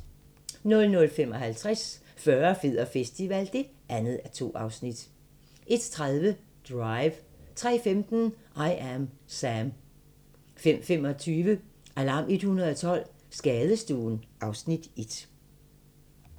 00:55: Fyrre, fed og festival (2:2) 01:30: Drive 03:15: I Am Sam 05:25: Alarm 112 - Skadestuen (Afs. 1)